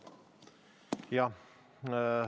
Jah.